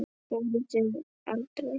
Fóruð þið aldrei?